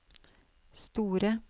store